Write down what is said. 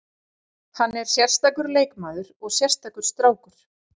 Hann er sérstakur leikmaður og sérstakur strákur.